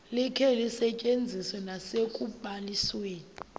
likhe lisetyenziswe nasekubalisweni